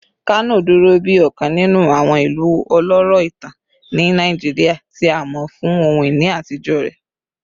Kano duro bi ọkan ninu awọn ilu ọlọrọ itan ni Naijiria, ti a mọ fun ohun-ini atijọ rẹ